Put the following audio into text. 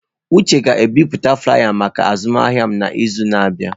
Uche ga-ebipụta flaiya maka azụmahịa m n'izu na-abịa.